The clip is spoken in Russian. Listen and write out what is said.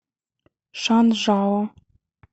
шанжао